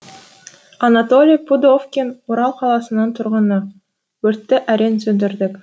анатолий пудовкин орал қаласының тұрғыны өртті әрең сөндірдік